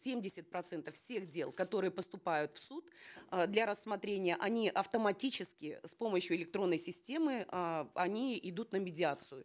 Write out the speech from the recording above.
семьдесят процентов всех дел которые поступают в суд э для рассмотрения они автоматически с помощью электронной системы э они идут на медиацию